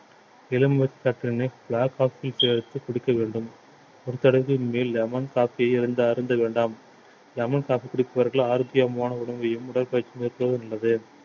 எலுமிச்சை சாற்றினை black coffee சேர்த்து குடிக்க வேண்டும் ஒரு தடவைக்கு மேல் lemon coffee இருந்து அருந்த வேண்டாம் lemon coffee குடிப்பவர்கள் ஆரோக்கியமான உணவையும் உடற்பயிற்சி மேற்கொள்ளவது நல்லது